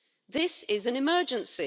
This is an emergency.